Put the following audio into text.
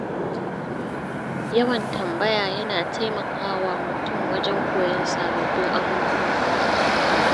Yawan tambaya yana taimaka wa mutum wajen koyon sababbin abubuwa.